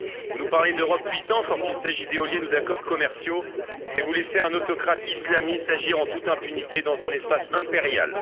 Vous nous parlez d'Europe puissante lorsqu'il s'agit d'éoliennes ou d'accords commerciaux mais vous laissez un autocrate islamiste agir en toute impunité dans un espace impérial.